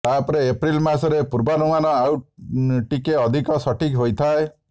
ତାପରେ ଏପ୍ରିଲ୍ ମାସରେ ପୂର୍ବାନୁମାନ ଆଉ ଟିକେ ଅଧିକ ସଠିକ୍ ହୋଇଥାଏ